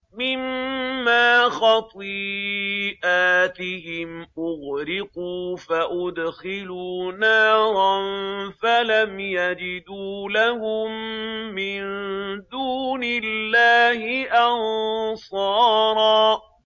مِّمَّا خَطِيئَاتِهِمْ أُغْرِقُوا فَأُدْخِلُوا نَارًا فَلَمْ يَجِدُوا لَهُم مِّن دُونِ اللَّهِ أَنصَارًا